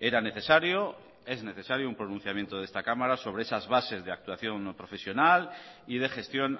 era necesario es necesario un pronunciamiento de esta cámara sobre esas bases de actuación profesional y de gestión